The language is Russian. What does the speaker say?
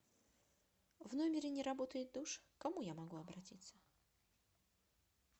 в номере не работает душ к кому я могу обратиться